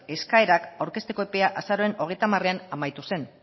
eskaerak aurkezteko epeak azaroaren hogeita hamaran amaitu zen